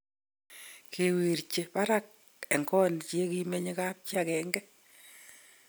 kiwirche barak en got ye kimenye kapchi agenge